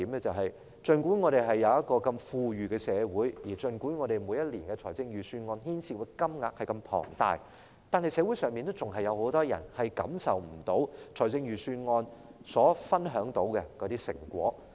儘管我們是如此富裕的社會，每年預算案牽涉的金額如此龐大，可是，社會上仍然有很多人未能享受預算案所分享的成果。